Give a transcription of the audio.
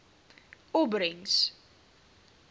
opbrengs